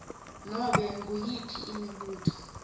nobe nguyiphi imibuto